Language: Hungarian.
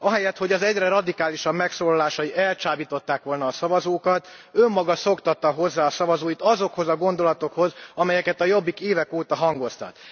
Ahelyett, hogy az egyre radikálisabb megszólalásai elcsábították volna a szavazókat, önmaga szoktatta hozzá a szavazóit azokhoz a gondolatokhoz, amelyeket a Jobbik évek óta hangoztat.